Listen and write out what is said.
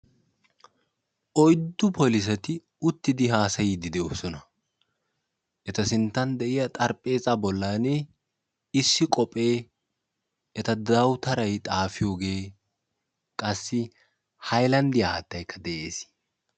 Oyddu polissetti uttiddi haasayosonna etta xaraphpheeza bolla qophphee haattayinne dawutaray de'ees.